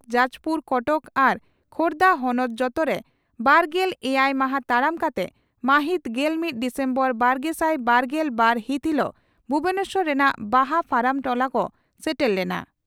ᱡᱟᱡᱽᱯᱩᱨ ᱠᱚᱴᱚᱠ ᱟᱨ ᱠᱷᱳᱨᱫᱟ ᱦᱚᱱᱚᱛ ᱡᱚᱛᱚᱨᱮ ᱵᱟᱨᱜᱮᱞ ᱮᱭᱟᱭ ᱢᱟᱦᱟᱸ ᱛᱟᱲᱟᱢ ᱠᱟᱛᱮ ᱢᱟᱹᱦᱤᱛ ᱜᱮᱞ ᱢᱤᱛ ᱰᱤᱥᱮᱢᱵᱚᱨ ᱵᱟᱨᱜᱮᱥᱟᱭ ᱵᱟᱨᱜᱮᱞ ᱵᱟᱨ ᱦᱤᱛ ᱦᱤᱞᱚᱜ ᱵᱷᱩᱵᱚᱱᱮᱥᱚᱨ ᱨᱮᱱᱟᱜ ᱵᱟᱦᱟ ᱯᱷᱟᱨᱟᱢ ᱴᱚᱞᱟ ᱠᱚ ᱥᱮᱴᱮᱨ ᱞᱮᱱᱟ ᱾